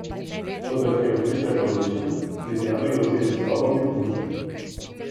Toda ker je odpis le polovičen, Litijani grozijo z izstopom iz združenja.